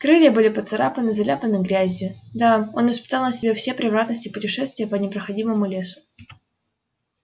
крылья были поцарапаны заляпаны грязью да он испытал на себе все превратности путешествия по непроходимому лесу